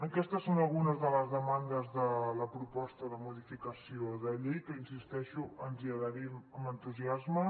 aquestes són algunes de les demandes de la proposta de modificació de llei que hi insisteixo ens hi adherim amb entusiasme